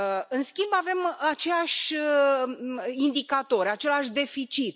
În schimb, avem aceiași indicatori, același deficit.